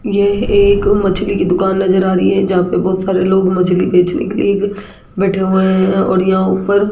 यह एक मछली की दुकान नजर आ रही है जहां पे बहुत सारे लोग मछली बेचने के लिए बैठे हुए हैं और यहां ऊपर--